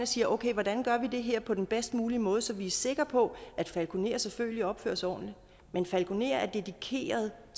siger okay hvordan gør vi det her på den bedst mulige måde så vi er sikre på at falkonerer selvfølgelig opfører sig ordentligt men falkonerer er dedikeret i